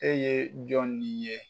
E ye jɔn ni ye.